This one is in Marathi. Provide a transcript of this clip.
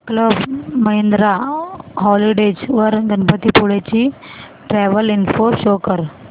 क्लब महिंद्रा हॉलिडेज वर गणपतीपुळे ची ट्रॅवल इन्फो शो कर